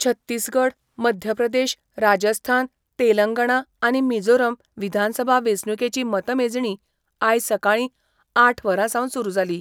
छत्तिसगड, मध्यप्रदेश, राजस्थान, तेलंगणा आनी मिझोरम विधानसभा वेचणुकेची मतमेजणी आयज सकाळी आठ वरांसावन सुरु जाली.